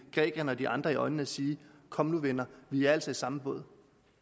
grækerne og de andre i øjnene og sige kom nu venner vi er altså i samme båd